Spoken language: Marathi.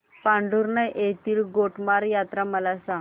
पांढुर्णा येथील गोटमार यात्रा मला सांग